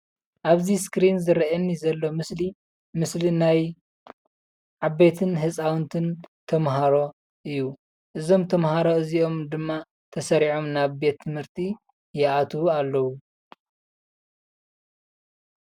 ኣብዚ እስክሪን ዝረአየኒ ዘሎ ምስሊ ምስሊ ናይ ዓበይትን ህፃውንትን ተማሃሮ እዩ፡፡ እዞም ተማሃሮ እዚኦም ድማ ተሰሪዖም ናብ ቤት ትምህርቲ ይኣትዉ ኣለዉ፡፡